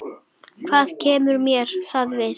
Hvað kemur mér það við?